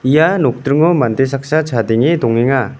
ia nokdringo mande saksa chadenge dongenga.